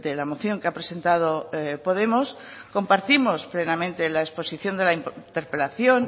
la moción que ha presentado podemos compartimos plenamente la exposición de la interpelación